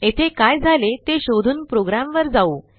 येथे काय झाले ते शोधून प्रोग्रॅमवर जाऊ